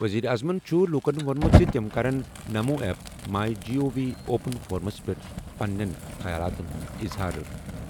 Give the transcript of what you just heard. ؤزیٖرِ اعظمَن چُھ لوٗکَن ووٚنمُت زِ تِم کرَن NaMo app, my G O V open فورمَس پٮ۪ٹھ پنٕنیٚن خیالاتن ہُند اظہار۔